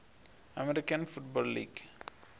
american football league